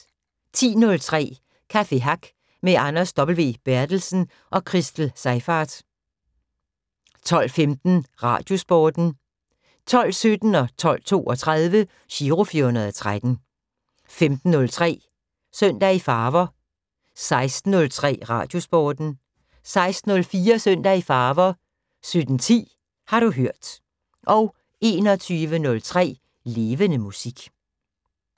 10:03: Café Hack med Anders W. Berthelsen og Christel Seyfarth 12:15: Radiosporten 12:17: Giro 413 12:32: Giro 413 15:03: Søndag i Farver 16:03: Radiosporten 16:04: Søndag i Farver 17:10: Har du hørt 21:03: Levende Musik